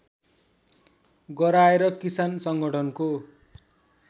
गराएर किसान संगठनको